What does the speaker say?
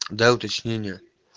да уточнение